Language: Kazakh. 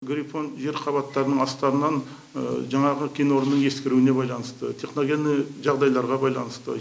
грифон жер қабаттарының астарынан жаңағы кенорнының ескіруіне байланысты техногенный жағдайларға байланысты